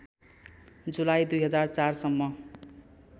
जुलाई २००४ सम्म